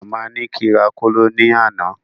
Màmá ní kí n rà kóló ní àná